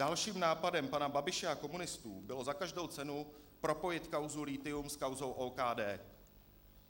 Dalším nápadem pana Babiše a komunistů bylo za každou cenu propojit kauzu lithium s kauzou OKD.